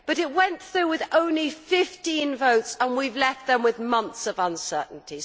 But it went through with only 15 votes, and we have left them with months of uncertainty.